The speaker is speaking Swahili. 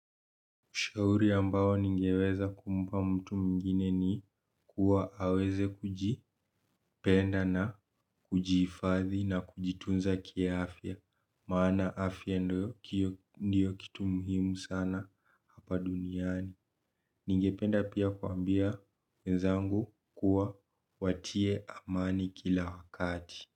Ushauri ambao ningeweza kumpa mtu mwingine ni kuwa aweze kujipenda na kujihifadhi na kujitunza ki afya. Maana afya ndio kitu muhimu sana hapa duniani. Ninge penda pia kuambia wenzangu kuwa watie amani kila wakati.